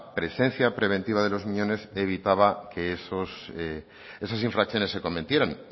presencia preventiva de los miñones evitaba que esas infracciones se cometieran